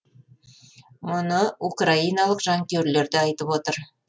мұны украиналық жанкүйерлер де айтып отыр